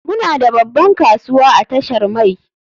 Muna da babban kasuwa a tashar mai.